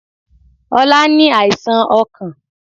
Ọlá ní àìsàn ọkàn